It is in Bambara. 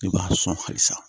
I b'a sɔn halisa